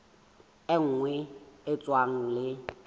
e nngwe e tshwanang le